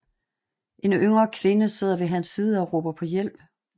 En yngre kvinde sidder ved hans side og råber på hjælp